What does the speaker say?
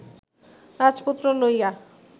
রাজপুত্র লইয়া